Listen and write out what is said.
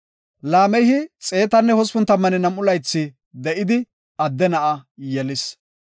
Laamehi 182 laythi de7idi, adde na7a yelis.